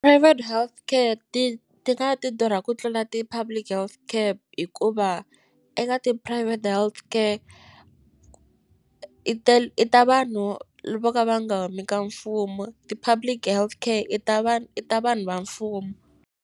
Private healthcare ti ti nga ti durha ku tlula ti-public health care hikuva eka ti-private healthcare i ta vanhu vo ka va nga humi ka mfumo ti-public health care i ta vanhu i ta vanhu va mfumo.